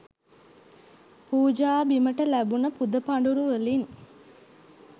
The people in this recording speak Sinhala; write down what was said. පූජා බිමට ලැබුණ පුදපඬුරු වලින්